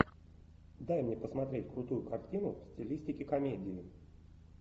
дай мне посмотреть крутую картину в стилистике комедии